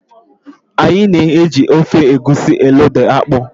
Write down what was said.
Anyị na eji ofe Egwusi elóda akpụ.